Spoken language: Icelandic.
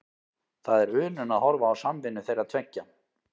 Það er unun að horfa á samvinnu þeirra tveggja.